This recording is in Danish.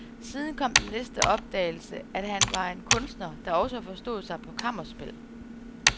Siden kom den næste opdagelse, at han var en kunstner, der også forstod sig på kammerspil.